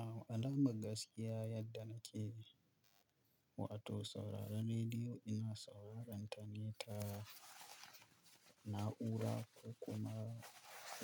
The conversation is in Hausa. A'a, alama gaskiya yadda nake, wato sauraren rediyo ina saurarenta ne ta na'ura ko kuma